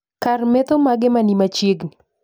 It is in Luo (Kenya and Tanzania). Kar metho mage mani machiegni